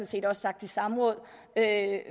set også sagt i samråd